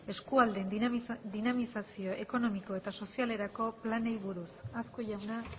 eskualdeen dinamizazio ekonomiko eta sozialerako planei buruz azkue jauna